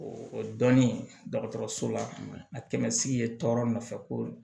O dɔnni dɔgɔtɔrɔso la kɛmɛ sigi ye tɔɔrɔ nɔfɛ ko